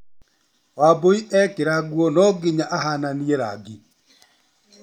Wambũi ekĩra nguo no nginya ahananie rangi.